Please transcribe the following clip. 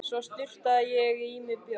Svo sturtaði ég í mig bjór.